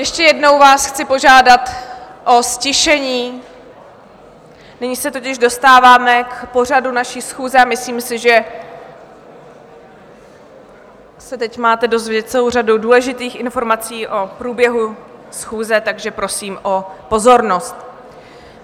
Ještě jednou vás chci požádat o ztišení, nyní se totiž dostáváme k pořadu naší schůze a myslím si, že se teď máte dozvědět celou řadu důležitých informací o průběhu schůze, takže prosím o pozornost.